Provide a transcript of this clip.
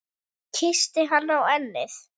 Kyssti hana á ennið.